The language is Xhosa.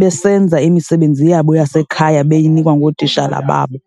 besenza imisebenzi yabo yasekhaya beyinikwa ngootishala babo.